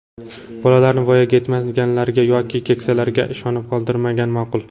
Bolalarni voyaga yetmaganlarga yoki keksalarga ishonib qoldirmagan ma’qul.